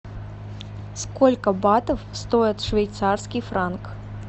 сколько батов стоит швейцарский франк